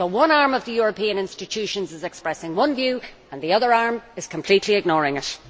So one arm of the European institutions is expressing one view and the other arm is completely ignoring it.